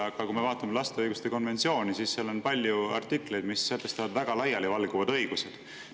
Aga kui me vaatame lapse õiguste konventsiooni, siis seal on palju artikleid, mis sätestavad väga laialivalguvad õigused.